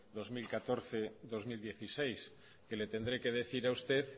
dos mil catorce dos mil dieciséis que le tendré que decir a usted